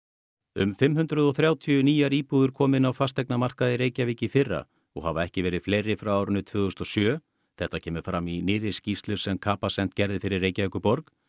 um fimm hundruð og þrjátíu nýjar íbúðir komu inn á fasteignamarkað í Reykjavík í fyrra og hafa ekki verið fleiri frá árinu tvö þúsund og sjö þetta kemur fram nýrri skýrslu sem Capacent gerði fyrir Reykjavíkurborg